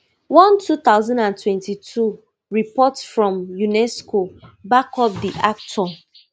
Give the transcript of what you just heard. one two thousand and twenty-two report from unesco back up di actor